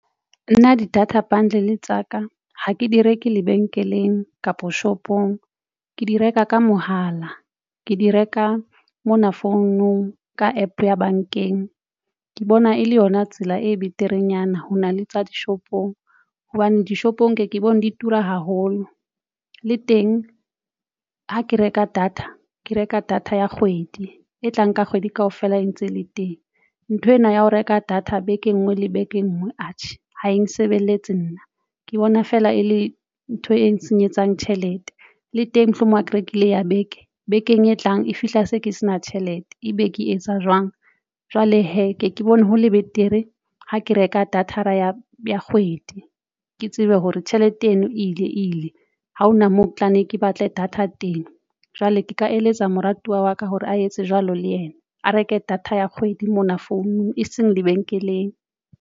Nna di-data bundle tsa ka ha ke di reke lebenkeleng kapa shopong ke di reka ka mohala ke di reka mona founong ka APP ya bankeng ke bona e le yona tsela e beterenyana. Ho na le tsa dishopong hobane dishopong nke ke bone di tura haholo. Le teng ha ke reka data ke reka data ya kgwedi e tlang, ka kgwedi kaofela e ntse le teng nthwena ya ho reka data beke e nngwe le beke e nngwe atjhe ha e nsebeletse. Nna ke bona feela e le ntho e nsenyetsang tjhelete le teng mohlomong a ke rekile ya beke bekeng e tlang e fihla se ke se na tjhelete, ebe ke etsa jwang jwale hee ke ke bone ho le betere ha ke reka data ra ya ya kgwedi, ke tsebe hore tjhelete eno ile ile ha hona moo tlanne ke batle data teng jwale, ke ka eletsa moratuwa wa ka hore a etse jwalo le yena. A reke data ya kgwedi mona founung e seng lebenkeleng.